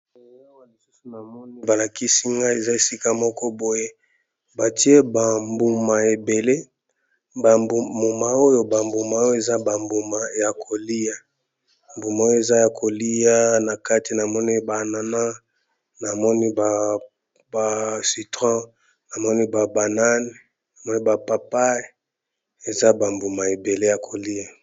Eyawa lisusu na moni balakisi ngai eza esika moko boye batie bambuma ebele ba mbuma oyo bambuma oyo eza bambuma ya kolia mbuma oyo eza ya kolia na kati na moni ba anana na moni ba citron na moni ba papayi eza bambuma ebele ya kolia.